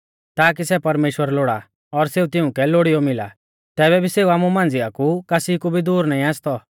ताकी सै परमेश्‍वर लोड़ा और सेऊ तिउंकै लोड़ीयौ मिला तैबै भी सेऊ आमु मांझ़िया कु कासी कु भी दूर नाईं आसतौ